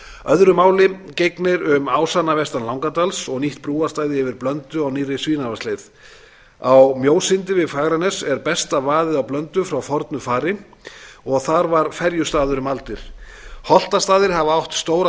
öðru máli gegnir um ásana vestan langadals og nýtt brúarstæði yfir blöndu á nýrri svínavatnsleið á mjósyndi við fagranes er besta vaðið á blöndu frá fornu fari og þar var ferjustaður um aldir holtastaðir hafa átt stóra